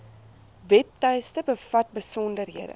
webtuiste bevat besonderhede